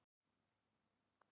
Haltu áfram Jón!